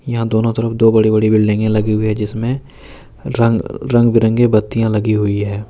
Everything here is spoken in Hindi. यहां दोनों तरफ दो बड़े बड़े बिल्डिंगे लगे हुए हैं जिसमें रंग बिरंगे बत्तियां गई हुई है।